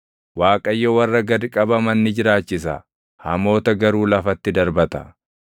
Waaqayyo warra gad qabaman ni jiraachisa; hamoota garuu lafatti darbata.